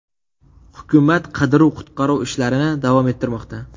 Hukumat qidiruv-qutqaruv ishlarini davom ettirmoqda.